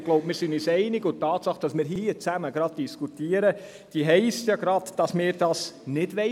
Die Tatsache, dass wir hier darüber diskutieren, zeigt ja gerade, dass wir dies nicht wollen: